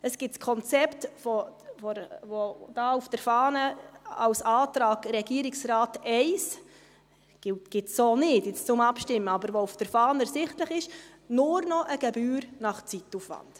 Es gibt das Konzept, das hier auf der Fahne als Antrag «Regierungsrat I» steht – das gibt es so zum Abstimmen nicht, aber es ist auf der Fahne ersichtlich –, nur noch eine Gebühr nach Zeitaufwand.